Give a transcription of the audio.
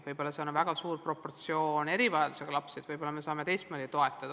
Võib-olla on seal väga suur proportsioon erivajadustega lapsi, võib-olla me saame teistmoodi toetada.